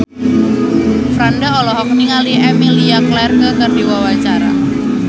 Franda olohok ningali Emilia Clarke keur diwawancara